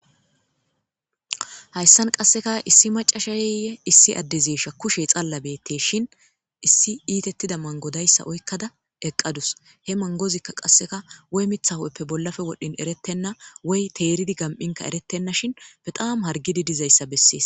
hayssan qasseka issi macasha ye issi addezesha kushe xalla betteshin issi iitettida mangodayssa oykkada eqqadus he mangozikka qasseka woy mitha hu'eppe bollafe wodhin erettenna woy teeridi gam'inka erettenna shin baxaam hargidi dizayssa bessees